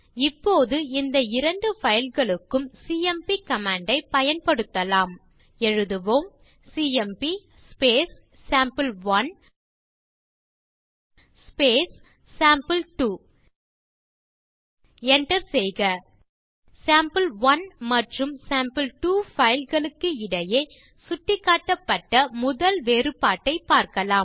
இப்போது இந்த இரண்டு பைல் களுக்கும் சிஎம்பி கமாண்ட் ஐ பயன்படுத்தலாம் எழுதுவோம் சிஎம்பி சேம்பிள்1 சேம்பிள்2 enter செய்க சேம்பிள்1 மற்றும் சேம்பிள்2 பைல் களுக்கு இடையே சுட்டிக்காட்டப்பட்ட முதல் வேறுபாட்டை பார்க்கலாம்